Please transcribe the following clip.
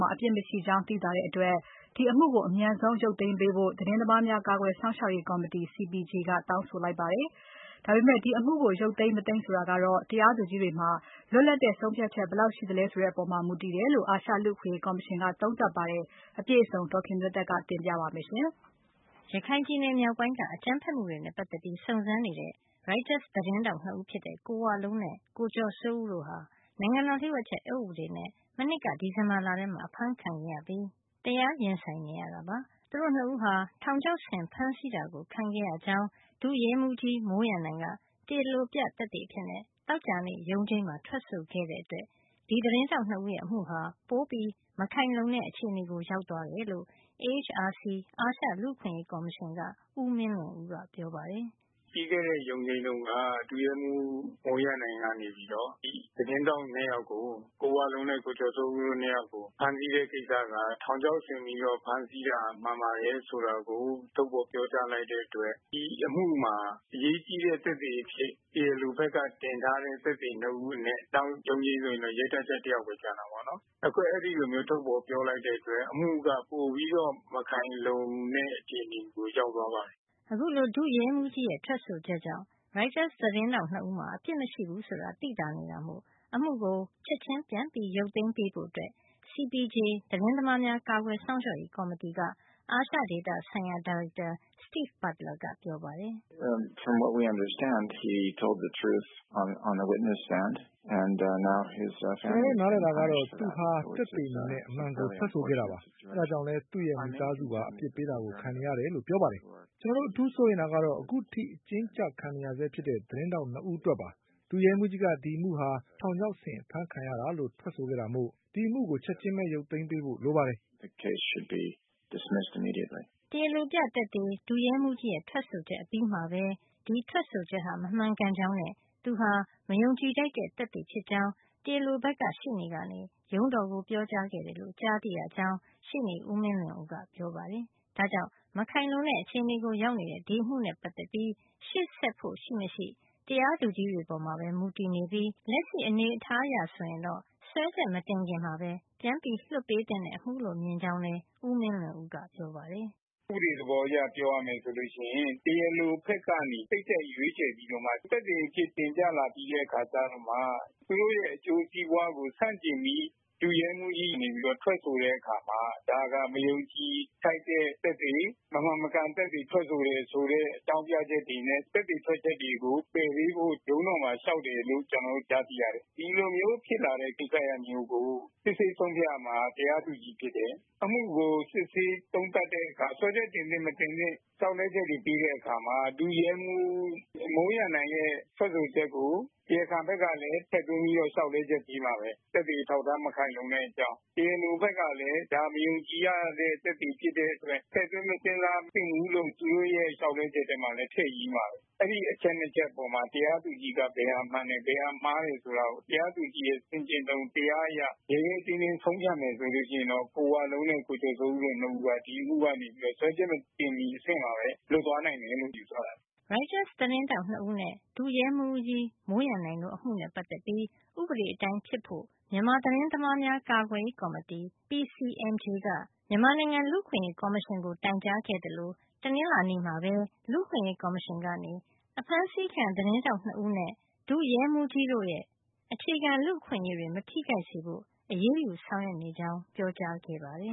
မှာ အပစ်မရှိကြောင်း သိသာတဲ့အတွက် စွဲချက်တင်ထားတဲ့ အမှုကို လုံးဝရုတ်သိမ်းသင့်ပြီလို့ CPJ သတင်းသမားများ ကာကွယ်စောင့်ရှောက်ရေး ကော်မတီက ပြောပါတယ်။ ဒီအမှုကို ရုတ်သိမ်းပေးဖို့ကတော့ တရားသူကြီးတွေပေါ်မှာပဲ မူတည်နေတယ်လို့ အာရှလူ့အခွင့်ရေးကော်မရှင်က သုံးသပ်ပါတယ်။ အပြည့်အစုံကို ဒေါ်ခင်မျိုးသက်က ပြောပြပေးမှာပါ။ ရခိုင်ပြည်နယ်မြောက်ပိုင်းက အကြမ်းဖက်မှုတွေနဲ့ ပတ်သက်ပြီးစုံစမ်းနေတဲ့ ရိုက်တာသတင်းထောက် နှစ်ဦးဖြစ်တဲ့ ကိုဝလုံးနဲ့ ကိုကျော်စိုးဦးတို့ဟာ နိုင်ငံတော်လျှို့ဝှက်ချက်အက်ဥပဒေနဲ့ မနှစ်က ဒီဇင်ဘာလထဲမှာ အဖမ်းဆီးခံရပြီး တရားရင်ဆိုင်နေရတာပါ။ သူတို့ နှစ်ဦးဟာ ထောင်ချောက်ဆင်ဖမ်းဆီးတာ ခံရကြောင်း ဒုရဲမှုး မိုးရန်နိုင်က တရားလိုပြ သက်သေအဖြစ် သောကြာနေ့ ရုံးချိန်းမှာ ထွက်ဆိုခဲ့တဲ့အတွက် ဒီသတင်းထောက်နှစ်ဦးရဲ့ အမှုဟာ ပိုပြီးမခိုင်လုံတဲ့ အခြေနေရောက်သွားတယ်လို့ AHRC အာရှလူ့အခွင့်ရေး ကော်မရှင်က ဦးမင်းလွင်ဦးက ပြောပါတယ်။ “ ပြီးခဲ့တဲ့ ရုံးချိန်းတုန်းက ဒုရဲမှူး မိုးရန်နိုင်ကနေပြီးတော့ သတင်းထောက် ၂ ယောက်ကို ကိုဝလုံးနဲ့ ကိုကျော်စိုးဦးတို့ ၂ ယောက်ကို ဖမ်းဆီးတဲ့ ကိစ္စက ထောင်ချောက်ဆင်ပြီးတော့ ဖမ်းဆီးတာ မှန်ပါတယ် ဆိုတာကို ထုတ်ဖော် ပြောကြားလိုက်တဲ့ အတွက် ဒီအမှုမှာ အရေးကြီးတဲ့ သက်သေ အဖြစ် တရားလိုဘက်က တင်ထားတဲ့ သက်သေ ၂ ဦး အနက် နောက်ရုံးချိန်းဆိုရင် ရဲတပ်ကြပ် တယောက်ဘဲ ကျန်တာပေါ့နော်။ အခု အဲဒီလိုမျိုး ထုတ်ဖော် ပြောလိုက်တဲ့ အတွက် အမှုက ပိုပြီးတော့ မခိုင်လုံတဲ့ အခြေအနေကို ရောက်သွားပါတယ်။ ” အခုလို ဒုရဲမှုးရဲ့ ထွက်ဆိုချက်ကြောင့် ရိုက်တာသတင်းထောက် ၂ ဦးမှာ အပစ်မရှိဘူး ဆိုတာ သိသာနေတာမို့ အမှုကို ချက်ချင်း ပြန်ရုတ်သိမ်းပေးဖို့ CPJ သတင်းသမားများ ကာကွယ်စောင့်ရှောက်ရေး ကော်မတီက အာရှဒေသဆိုင်ရာ ဒါရိုက်တာ Steve Butler ပြောပါတယ်။ “ကျွန်တော်တို့ နားလည်တာကတော့ သူဟာသက်သေအနေနဲ့ အမှန်ကို ထွက်ဆိုခဲ့တာပါ။ ဒါကြောင့်လည်း သူ့မိသားစုပါ အပြစ်ပေးတာကို ခံနေရတယ်လို့ ပြောပါတယ်။ ကျွန်တော်တို့ အထူးစိုးရိမ်တာကတော့ အခုထိ အကျဉ်းကျ ခံနေရဆဲဖြစ်တဲ့ သတင်းထောက် ၂ ယောက်အတွက်ပါ။ ဒုရဲမှုးကြီးက ဒီအမှုဟာ ထောင်ချောက်ဆင်အဖမ်းခံရတာလို့ ထွက်ဆိုခဲ့တာမို့ ဒီအမှုကို ချက်ချင်းပဲ ရုတ်သိမ်းပေးဖို့ လိုပါတယ်” တရားလိုပြသက်သေ ဒုရဲမှုးရဲ့ထွက်ဆိုချက်အပြီးမှာပဲ ဒီထွက်ဆိုချက်ဟာ မမှန်ကန်ကြောင်းနဲ့ သူဟာ မယုံကြည်ထိုက်တဲ့ သက်သေ ဖြစ်ကြောင်း တရားလိုဘက်က ရှေ့နေကရုံးတော်ကို ပြောကြားခဲ့တယ်လို့ ကြားသိရကြောင်း ရှေ့နေ ဦးမင်းလွင်ဦးက ပြောပါတယ်။ဒါကြောင့် မခိုင်လုံတဲ့ အခြေနေရောက်နေတဲ့ ဒီအမှုနဲ့ ပတ်သက်ပြီး ရှေ့ဆက်ဖို့ရှိမရှိ တရားသူကြီးတွေပေါ်မှာပဲ မူတည်နေပြီး လက်ရှိအနေထားအရ ဆိုရင်တော့ စွဲချက်မတင်ခင်မှာပဲ လွှတ်ပေးသင့်တဲ့ အမှုလို့မြင်ကြောင်းလည်း ဦးမင်းလွင်ဦးက ပြောပါတယ်။ “ ဥပဒေ သဘောအရ ပြောရမယ်ဆိုလို့ ရှိရင် တရားလို ဘက်ကနေ စိတ်ကြိုက်ရွေးချယ်ပြီးတော့မှ သက်သေ အဖြစ် တင်ပြလာပြီးတော့မှ သူတို့ရဲ့ အကျိုးစီးပွားကို ဆန့်ကျင်ပြီး ဒုရဲမှူးကြီးက နေပြီး ထွက်ဆိုတဲ့ အခါမှာ ဒါက မယုံကြည်ထိုက်တဲ့ သက်သေ မမှန်မကန် သက်သေ ထွက်ဆိုတဲ့ အကြောင်းပြချက်တွေနဲ့ သက်သေထွက်ချက်တွေကို ပယ်ပေးဖို့ ရုံးတော်မှာ လေ ျှာက်တယ်လို့ ကျနော်တို့ ကြားသိရတယ်။ ဒီလိုမျိုး ဖြစ်လာတဲ့ ကိစ္စရပ်မျိုးကို စစ်ဆေးဆုံးဖြတ်ရမှာက တရားသူကြီး ဖြစ်တယ်။ အမှုကို စစ်ဆေးသုံးသပ်တဲ့ အခါ စွဲချက် တင်သင့်မတင်သင့် လေ ျှာက်လဲချက်တွေ ပေးတဲ့ အခါမှာ ဒုရဲမှူး မိုးရန်နိုင်ရဲ့ ထွက်ဆိုချက်ကို တရားခံဘက်ကလည်း ထည့်သွင်းပြီးတော့ လေ ျှာက်လဲချက် ပေးမှာဘဲ။ သက်သေအထောက်အထား မခိုင်လုံတဲ့ အကြောင်း တရားလို ဘက်ကလည်း ဒါ မယုံကြည်ရတဲ့ သက်သေ ဖြစ်တဲ့ အတွက် ထည့်သွင်း မစဉ်းစားသင့်ဘူးလို့ သူတို့ရဲ့ လေ ျှာက်လဲချက်ထဲမှာလည်း ထည့်ရေးမှာဘဲ။ အဲဒီ အချက် နှစ်ချက်ထဲမှာ တရားသူကြီးက ဘယ်ဟာမှန်တယ် ဘယ်ဟာမှားတယ်ဆိုတာကို တရားသူကြီးရဲ့ ဆင်ခြင်တုံ တရားအရ ရဲရဲတင်းတင်း ဆုံးဖြတ်မယ် ဆိုရင်တော့ ကိုဝလုံးနဲ့ ကိုကျော်စိုးဦးတို့ နှစ်ဦးက ဒီအမှု စွဲချက် မတင်မီ အဆင့်မှာဘဲ လွတ်သွားနိုင်တယ်လို့ ယူဆရတယ်။ ” ရိုက်တာ သတင်းထောက်နှစ်ဦးနဲ့ ဒုရဲမှူး မိုးရန်နိုင်တို့ အမှုနဲ့ပတ်သတ်ပြီး ဥပဒေအတိုင်းဖြစ်ဖို့ မြန်မာ သတင်းသမားများ ကာကွယ်ရေး ကော်မတီ PCMJ က မြန်မာနိုင်ငံ လူ့အခွင့်အရေး ကော်မရှင်ကို တိုင်ကြားခဲ့သလို တနင်္လာနေ့မှာပဲ လူ့အခွင့်ရေးကော်မရှင်က အဖမ်းဆီးခံ သတင်းထောက် ၂ ဦးနဲ့ ဒုရဲမှုးကြီးတို့ အခြေခံလူ့အခွင့်ရေးတွေ မထိခိုက်စေဖို့ အရးယူဆောင်ရွက်နေကြောင်း ပြောကြားခဲ့ပါတယ်